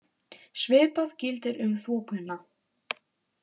Svipað gildir um þokuna.